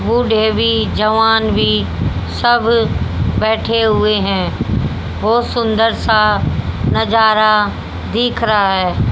बूढ़े भी जवान भी सब बैठे हुए हैं। बहोत सुंदर सा नजारा देख रहा है।